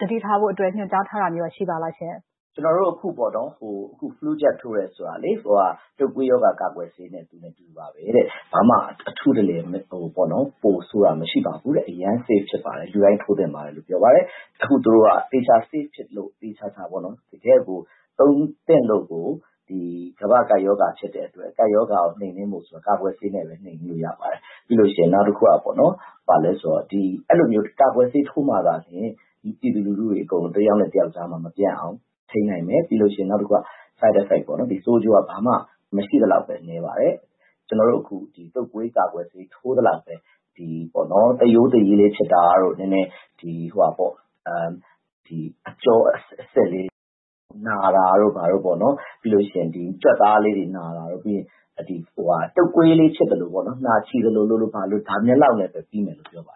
သတိထားဖို့အတွက် ညွှန်ကြားထားတာမျိုးရော ရှိပါသလားရှင့်။ ဒေါက်တာ သက်ကိုကို။ ။ ကျနော်တို့အခုပေါ့နော်.. flu jab ထိုးတယ်ဆိုတာလေ... တုပ်ကွေးရောဂါ ကာကွယ်ဆေးနဲ့ သူနဲ့အတူတူပါပဲတဲ့။ ဘာမှ အထူးတလည် ပိုဆိုးတာမျိုးမရှိပါဘူးတဲ့။ အရမ်း safe ဖြစ်ပါတယ်။ လူတိုင်း ထိုးသင့်ပါတယ်လို့ ပြောပါတယ်။ အခုသူတို့က သေချာ safe ဖြစ်လို့ သေသေချာချာပေ့ါနော် တကယ့်ကို သုံးသင့်လို့ကို ကမ္ဘာ့ကပ်ရောဂါ ဖြစ်တဲ့အတွက် ကပ်ရောဂါကို နှိမ်နင်းမယ်ဆိုလို့ရှိရင် ကာကွယ်ဆေးနဲ့ပဲ နှိမ်နင်းလို့ရပါတယ်။ ပြီးလို့ရှိရင် နောက်တခုက အဲဒီလိုမျိုးကာကွယ်ဆေး ထိုးမှသာလျှင် ပြည်သူလူထုတွေအကုန် တယောက်နဲ့ တယောက်ကြားမှာ မပြန့်အောင် ထိန်းနိုင်မယ်။ ပြီးလို့ရှိရင် နောက်တခုက side effect ပေါ့နော်၊ ဆိုးကျိုးက ဘာမှ မရှိသလောက်ဘဲ နည်းပါတယ်။ ကျနော်တို့အခု တုပ်ကွေးကာကွယ်ဆေး ထိုးသလောက်ပဲ... သရိုးသရည်လေး ဖြစ်တာတို့၊ နည်းနည်း အကျောအဆစ်လေးတွေ နာတာတို့ဘာတို့ပေါ့နော်၊ ပြီးလို့ရှိရင် ကြွက်သားလေးတွေနာတာတို့၊ တုပ်ကွေးလေး ဖြစ်သလိုပေါ့နော်... နှာချေသလိုလို၊ ဘာလိုလိုပေါ့နော်... ဒါမျိူးလောက်နဲ့ပဲ ပြီးမယ်လို့ ပြောပါ